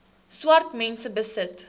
swart mense besit